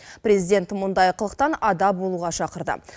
президент мұндай қылықтан ада болуға шақырды